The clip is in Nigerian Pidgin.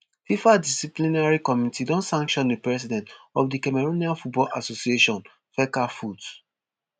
fifa disciplinary committee don sanction di president of di cameroonian football association fecafoot